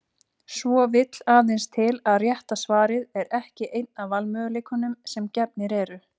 Svo vill aðeins til að rétta svarið er ekki einn af valmöguleikunum sem gefnir eru.